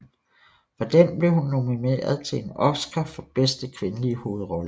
For den blev hun nomineret til en Oscar for bedste kvindelige hovedrolle